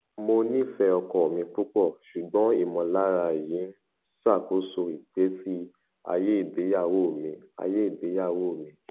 mo nifẹ ọkọ mi pupọ ṣugbọn imọlara yii n ṣakoso igbesi aye igbeyawo mi aye igbeyawo mi